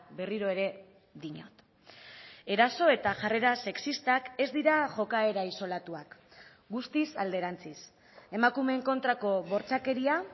berriro ere diot eraso eta jarrera sexistak ez dira jokaera isolatuak guztiz alderantziz emakumeen kontrako bortxakeria